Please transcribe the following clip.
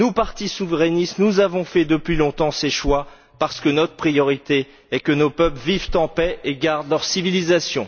Nous, partis souverainistes, avons fait depuis longtemps ces choix parce que notre priorité est que nos peuples vivent en paix et gardent leur civilisation.